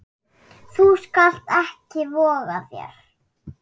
Þú skalt ekki voga þér!